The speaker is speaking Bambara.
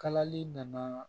Kalali nana